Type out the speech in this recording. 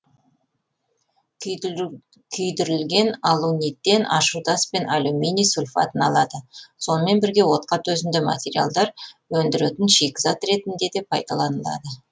күйдірілген алуниттен ашудас пен алюминий сульфатын алады сонымен бірге отқа төзімді материалдар өндіретін шикізат ретінде де пайдаланылады